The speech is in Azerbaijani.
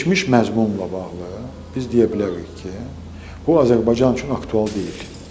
Keçmiş məzmunla bağlı biz deyə bilərik ki, o Azərbaycan üçün aktual deyil.